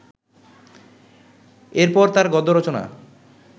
এর পর তাঁর গদ্য রচনা